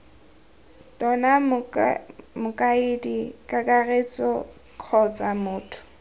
tona mokaedi kakaretso kgotsa motho